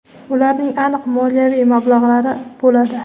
ularning aniq moliyaviy mablag‘lari bo‘ladi.